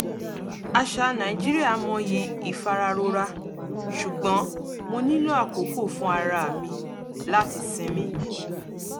àṣà nàìjíríà mọyì ìfararora ṣùgbọ́n mo nílò àkókò fún ara mi láti sinmi